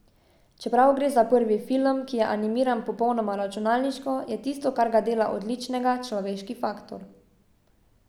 Čeprav gre za prvi film, ki je animiran popolnoma računalniško, je tisto, kar ga dela odličnega, človeški faktor.